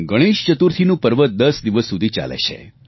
ગણેશ ચતુર્થીનું પર્વ 10 દિવસ સુધી ચાલે છે